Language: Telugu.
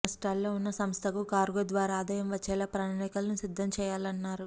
నష్టాల్లో ఉన్న సంస్థకు కార్గో ద్వారా ఆదాయం వచ్చేలా ప్రణాళికలను సిద్ధం చేయాలన్నారు